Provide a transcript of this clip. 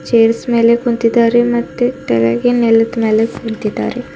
Chairs ಮೇಲೆ ಕುಂತಿದಾರೆ ಮತ್ತೆ ಟೆಳಗೆ ನೆಲುದ್ ಮೇಲೆ ಕುಂತಿದಾರೆ.